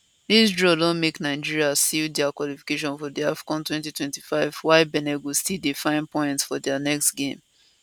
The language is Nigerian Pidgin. dis draw don make nigeria seal dia qualification for di afcon 2025 while benin go still dey find points for dia next game